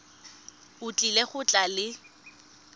o tlile go tla le